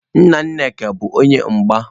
Nna Nneka bu onye mgba.